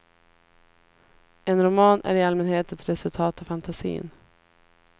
En roman är i allmänhet ett resultat av fantasin.